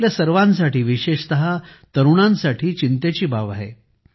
ही आपल्या सर्वांसाठी विशेषतः तरुणांसाठी चिंतेची बाब आहे